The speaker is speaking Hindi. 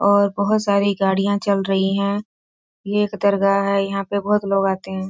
और बहोत सारी गाड़ियां चल रही हैं। ये एक दरगाह है। यहाँ पे बहोत लोग आते हैं।